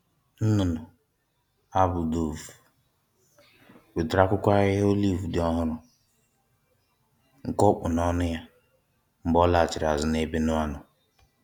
Nnụnụ a bụ dove, wetere akwụkwọ ahịhịa olive dị ọhụrụ, nke o kpụ n’ọnụ ya mgbe ọ laghachiri azụ n’ebe Noa nọ.